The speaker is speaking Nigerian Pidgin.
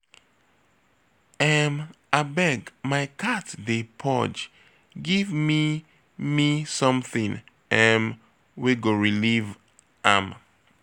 um Abeg my cat dey purge give me something um wey go relieve am